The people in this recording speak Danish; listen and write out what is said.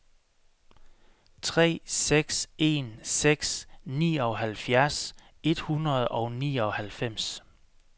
tre seks en seks nioghalvfjerds et hundrede og nioghalvfems